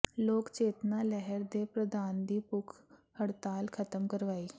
ਲੋਕ ਚੇਤਨਾ ਲਹਿਰ ਦੇ ਪ੍ਰਧਾਨ ਦੀ ਭੁੱਖ ਹੜਤਾਲ ਖ਼ਤਮ ਕਰਵਾਈ